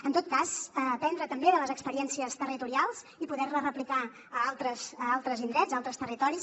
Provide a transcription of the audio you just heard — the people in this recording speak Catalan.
en tot cas aprendre també de les experiències territorials i poder les replicar a altres indrets a altres territoris